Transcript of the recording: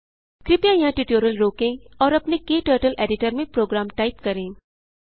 कृपया यहाँ ट्यूटोरियल रोकें और अपने क्टर्टल एडिटर में प्रोग्राम टाइप करें